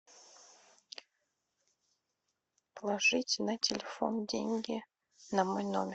положить на телефон деньги на мой номер